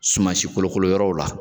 Suma si kolokolo yɔrɔw la